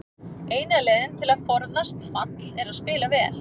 Eina leiðin til að forðast fall er að spila vel.